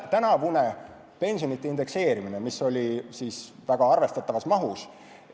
Tänavune pensionide indekseerimine tehti arvestatavas mahus.